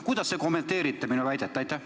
Kuidas te kommenteerite minu väidet?